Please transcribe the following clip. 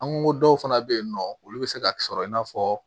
An ko dɔw fana bɛ yen nɔ olu bɛ se ka sɔrɔ i n'a fɔ